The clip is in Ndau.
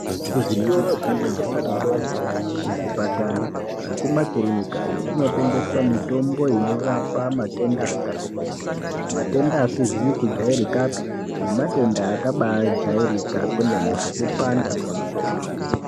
Kuzvitoro zvinotengesa mitombo kuzvipatara nekumakirinikayo kumotengeswa mitombo inorapa matenda akatikuti matenda asizi kujairikapi nematenda akajairika kwemene sekupanda kwemusoro.